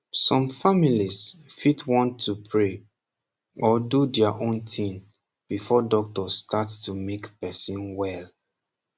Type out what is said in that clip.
som families fit want to pray or do their own tin before doctor start to mak person wel